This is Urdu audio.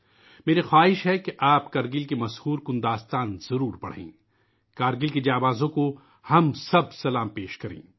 میری خواہش ہے کہ آپ کرگل کی سنسنی خیز کہانی ضروری پڑھیں ، ہم سب کرگل کے بہادروں کو سلام پیش کریں